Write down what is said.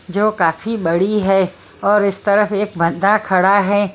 जो काफी बड़ी है और इस तरफ एक बंदा खड़ा है।